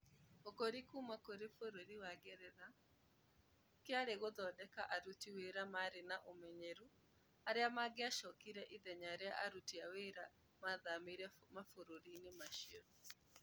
Ũkũũri kuuma kũrĩ bũrũri wa Ngeretha, kĩarĩ gũthondeka aruti wĩra marĩ na ũmenyeru arĩa mangĩacokire ithenya rĩa aruti wĩra arĩa maathamĩire mabũrũri-inĩ macio